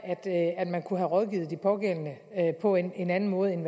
at man kunne have rådgivet de pågældende på en anden måde end